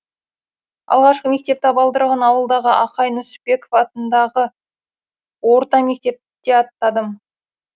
алғаш мектеп табалдырығын ауылдағы ақай нүсіпбеков атындағы орта мектепте аттадым